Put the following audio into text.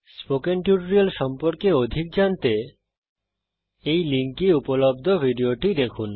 spoken tutorial প্রকল্প সম্পর্কে অধিক জানতে এই লিঙ্কে উপলব্ধ ভিডিওটি দেখুন